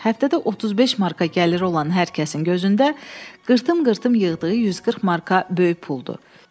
Həftədə 35 marka gəliri olan hər kəsin gözündə qırtım-qırtım yığdığı 140 marka böyük puldu.